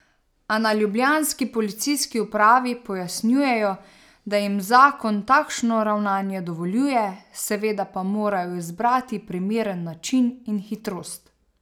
A na ljubljanski policijski upravi pojasnjujejo, da jim zakon takšno ravnanje dovoljuje, seveda pa morajo izbrati primeren način in hitrost.